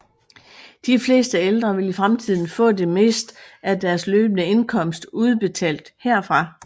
De fleste ældre vil i fremtiden få det meste af deres løbende indkomst udbetalt herfra